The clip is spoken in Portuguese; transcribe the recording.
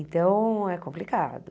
Então, é complicado.